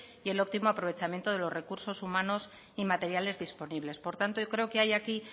y el óptimo aprovechamiento de los recursos humanos y materiales disponibles por tanto yo creo que hay aquí